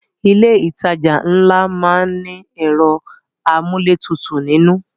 Ilé ìtajà ńlá má ń ní ẹ̀rọ amúlétutù nínú